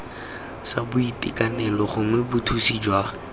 sa boitekanelo gongwe bothusi jwa